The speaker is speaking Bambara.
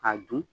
K'a dun